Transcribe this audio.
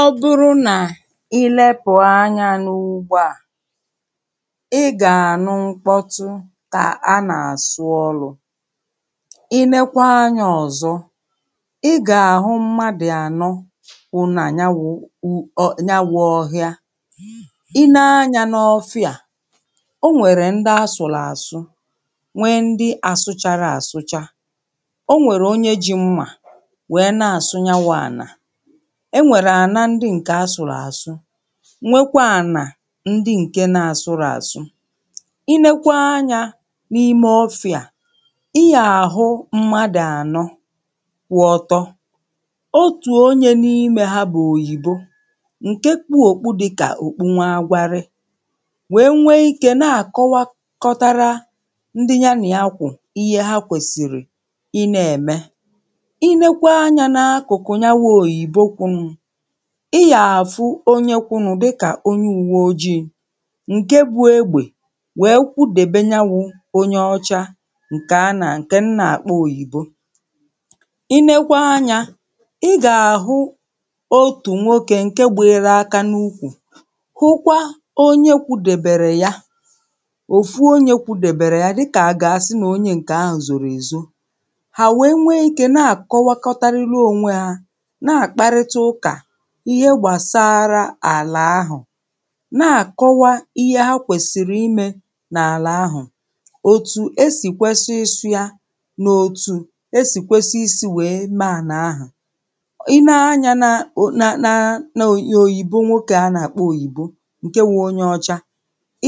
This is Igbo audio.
Ọ bụrụ nà ị lepù anyā n’ugbo à ị gà-ànụ mkpọtụ kà a nà-àsụ ọlʊ̣̄ I leekwa anyā ọ̀zọ ị gà-àhụ mmadụ̀ ànọ kwụ nà nya wụ̄ ọhịa, I nee anyā n’ọfịà o nwèrè ndị asụ̀rụ̀ àsụ, nwee ndị asụchārọ̄ àsụcha o nwèrè onye jī mmà wèe na-àsụ nya wụ̄ ànà o nwèrè àna ndị ǹke asụ̀rụ̀ àsụ nwekwaa ànà ndị ǹke na-asụrọ̄ àsụ I leekwa anyā n’ime ọfịa à ị yà àhụ mmadụ̀ ànọ kwụ ọtọ, otù onyē n’imē ha bụ̀ òyìbo ǹke kpū òkpu dịkà òkpu nwá agwarị wèe nwee ikē na-àkọwakọtara ndị nya nị̀a kwụ̀ ihe ha kwèsìrì ị nā-ème I neekwa anyā n’akụ̀kụ̀ nya wụ̄ òyìbo kwụnụ̄ ị yà-àfụ onye kwụnụ̄ dịkà onye ùwe ojiī ǹke bū egbè wèe kwudèbe nya wụ̄ onye ọcha ǹkè m nà-àkpọ òyìbo I leekwa anyā ị gà-àɦụ otù nwokē ǹke gbịyịrụ aka n’ukwù hụkwa onye kwudèbèrè ya, òfu onyē kwudèbèrè ya dikà à gà-àsị nà onye ǹkè ahụ̀ zòrò èzo Hà wèe nwee ikē na-àkọwakọtarịrị ònwe hā na-àkparịta ụkà ihe gbàsara àlà ahụ̀, na-àkọwa ihe ha kwèsìrì imē n’àlà ahụ̀ òtù esì kwesi ịsụ̄ yā nà òtù esì kwesi isī wèe mee ànà ahụ̀ I nee anyā n’òyìbo, nwokē à a nà-àkpọ òyìbo ǹke wụ̄ onye ọcha